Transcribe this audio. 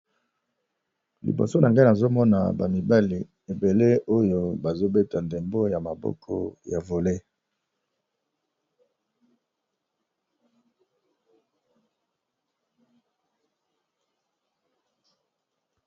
Awa ezali na butu, kasi bilenge mibali baza na terrain bazo beya ndembo ya maboko babengaka Volleyball.